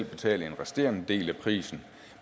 betale den resterende del af prisen